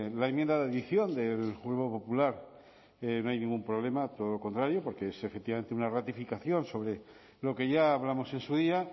la enmienda de adición del grupo popular no hay ningún problema todo lo contrario porque es efectivamente una ratificación sobre lo que ya hablamos en su día